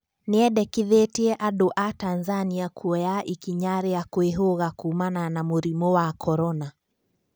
Nĩendekithetie andũ a Tanzania kuoya ikinya ria kwĩhũga kuumana na mũrimo wa korona